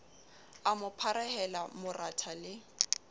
a mo pharehela moratha le